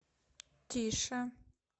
тише